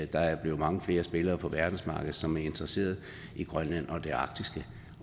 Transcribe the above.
der er blevet mange flere spillere på verdensmarkedet som er interesseret i grønland og det arktiske